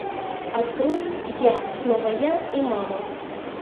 открой я снова я и мама